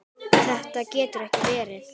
Þetta getur ekki verið!